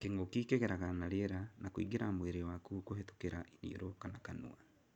Kĩngũki kĩgeraga na rĩera na kũingĩra mwĩrĩ waku kũhĩtũkĩra iniũrũ kana kanua.